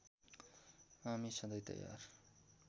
हामी सधैँ तयार